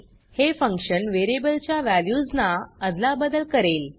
हे function variable च्या values ना अदलाबदल करेल